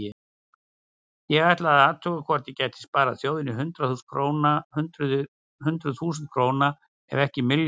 Ég ætlaði að athuga hvort ég gæti sparað þjóðinni hundruð þúsunda króna ef ekki milljónir.